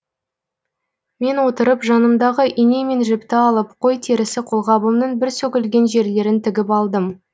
мен отырып жанымдағы ине мен жіпті алып қой терісі қолғабымның бір сөгілген жерлерін тігіп алдым